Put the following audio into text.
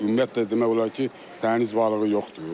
Ümumiyyətlə demək olar ki, dəniz balığı yoxdur.